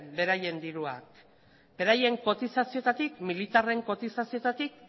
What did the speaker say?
beraien diruak beraien kotizazioetatik militarren kotizazioetatik